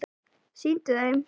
Sýndu þeim!